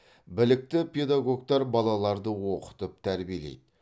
білікті педагогтар балаларды оқытып тәрбиелейді